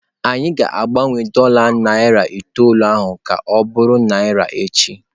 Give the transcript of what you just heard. Anyị ga-agbanwe dola narị itoolu ahụ ka ọ bụrụ naira echi.